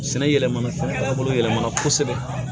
Sɛnɛ yɛlɛmana fɛnw yɛlɛmana kosɛbɛ